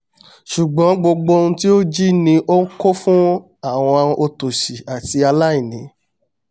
ṣùngbọ́n gbogbo oun tí ó ń jí ni ó ń kó fún àwọn òtòṣì àti aláìní